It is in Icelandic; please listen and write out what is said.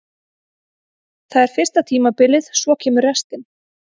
Það er fyrsta tímabilið, svo kemur restin.